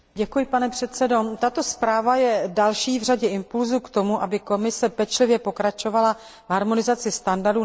Tato zpráva je další v řadě impulsů k tomu, aby Komise pečlivě pokračovala v harmonizaci standardů na vnitřním trhu.